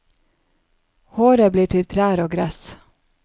Håret blir til trær og gress.